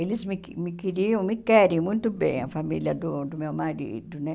Eles me que me queriam, me querem muito bem, a família do do meu marido, né?